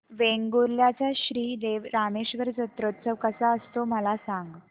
वेंगुर्ल्या चा श्री देव रामेश्वर जत्रौत्सव कसा असतो मला सांग